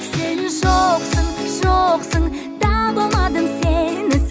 сен жоқсың жоқсың таба алмадым сені